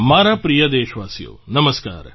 મારા પ્રિય દેશવાસીઓ નમસ્કાર